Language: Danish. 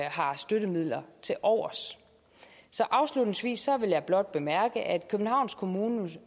har støttemidler tilovers afslutningsvis vil jeg blot bemærke at københavns kommune